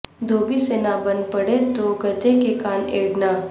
دھوبی سے نہ بن پڑے تو گدھے کے کان اینٹھنا